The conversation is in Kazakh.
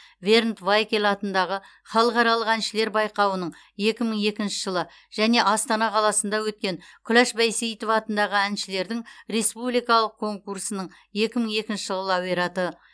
бернд вайкель атындағы халықаралық әншілер байқауының екі мың екінші жылы және астана қаласында өткен күләш байсейітова атындағы әншілердің республикалық конкурсының екі мың екінші жылы лауреаты